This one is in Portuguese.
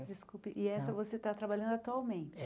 Desculpe, e essa você tá trabalhando atualmente?